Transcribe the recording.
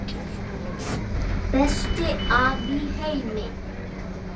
Besti afi í heimi.